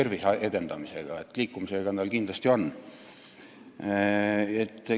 Liikumisega siiski kindlasti on.